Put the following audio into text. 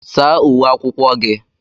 Saa uwe akwụkwọ gị!